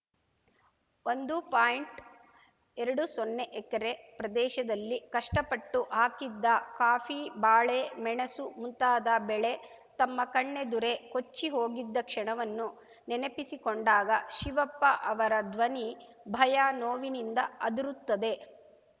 ಒಂದು ಪಾಯಿಂಟ್ಎರಡು ಸೊನ್ನೆ ಎಕರೆ ಪ್ರದೇಶದಲ್ಲಿ ಕಷ್ಟಪಟ್ಟು ಹಾಕಿದ್ದ ಕಾಫಿ ಬಾಳೆ ಮೆಣಸು ಮುಂತಾದ ಬೆಳೆ ತಮ್ಮ ಕಣ್ಣೆದುರೇ ಕೊಚ್ಚಿಹೋಗಿದ್ದ ಕ್ಷಣವನ್ನು ನೆನಪಿಸಿಕೊಂಡಾಗ ಶಿವಪ್ಪ ಅವರ ಧ್ವನಿ ಭಯ ನೋವಿನಿಂದ ಅದುರುತ್ತದೆ